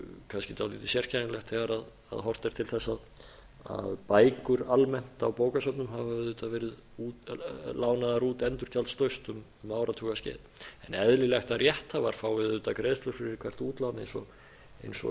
kannski dálítið sérkennilegt þegar horft er til þess að bækur almennt á bókasöfnum hafa auðvitað verið lánaðar út endurgjaldslaust um áratugaskeið en eðlilegt er að rétt hafa fái auðvitað greiðslur fyrir hvert útlán eins og